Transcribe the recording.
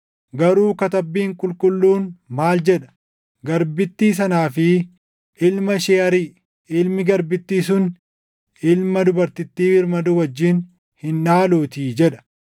Garuu Katabbiin Qulqulluun maal jedha? “Garbittii sanaa fi ilma ishee ariʼi; ilmi garbittii sun ilma dubartittii birmaduu wajjin hin dhaaluutii” + 4:30 \+xt Uma 21:10\+xt* jedha.